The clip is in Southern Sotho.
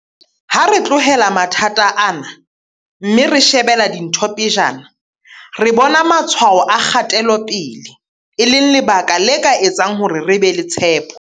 Ha re tlohela mathata ana, mme re shebela dintho pejana, re bona matshwao a kgatelo pele, e leng lebaka le ka etsang hore re be le tshepo.